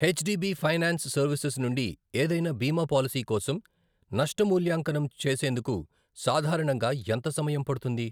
H D B finance services నుండి ఏదైన బీమా పాలసీ కోసం నష్ట మూల్యాంకనం చేసేందుకు సాధారణంగా ఎంత సమయం పడుతుంది?